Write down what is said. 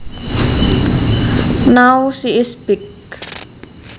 Now she is big